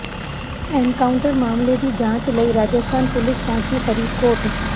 encounter ਮਾਮਲੇ ਦੀ ਜਾਂਚ ਲਈ ਰਾਜਸਥਾਨ ਪੁਲਿਸ ਪਹੁੰਚੀ ਫਰੀਦਕੋਟ